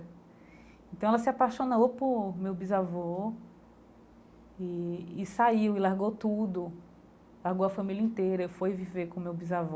Então ela se apaixonou por meu bisavô e e saiu e largou tudo, largou a família inteira, foi viver com meu bisavô.